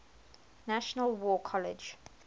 national war college